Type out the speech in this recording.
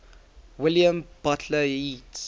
william butler yeats